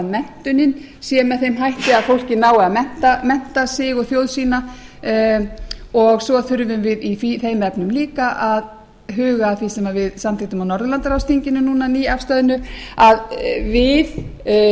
menntunin sé með þeim hætti að fólkið nái að mennta sig og þjóð sína svo þurfum við í þeim efnum líka að huga að því sem við samþykktum á norðurlandaráðsþinginu núna nýafstöðnu að við